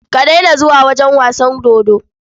Ka daina zuwa wajen wasan dodo.